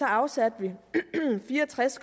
afsatte vi fire og tres